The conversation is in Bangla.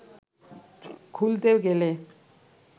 খুলতে গেলে